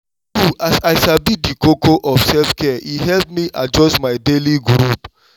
true as i sabi di koko of self-care e help me adjust my daily groove.